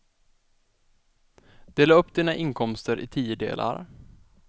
Dela upp dina inkomster i tio delar.